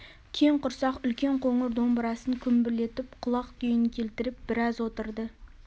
кең құрсақ үлкен қоңыр домбырасын күмбірлетіп құлақ күйін келтіріп біраз отырды